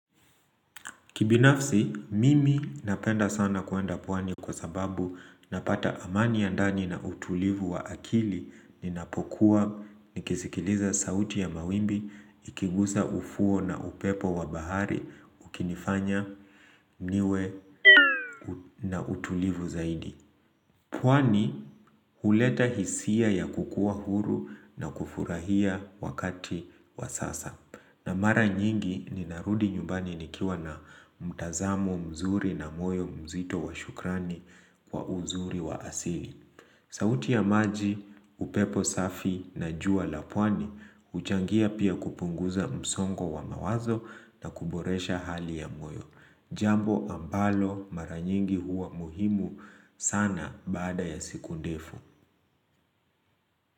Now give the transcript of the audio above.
Kibinafsi, mimi napenda sana kuenda pwani kwa sababu napata amani ya ndani na utulivu wa akili ninapokuwa nikisikiliza sauti ya mawimbi, ikigusa ufuo na upepo wa bahari, ukinifanya niwe na utulivu zaidi. Pwani huleta hisia ya kukua huru na kufurahia wakati wa sasa. Na mara nyingi ninarudi nyumbani nikiwa na mtazamo mzuri na moyo mzito wa shukrani kwa uzuri wa asili. Sauti ya maji, upepo safi na jua la pwani, huchangia pia kupunguza msongo wa mawazo na kuboresha hali ya moyo. Jambo ambalo maranyingi huwa muhimu sana baada ya siku ndefu.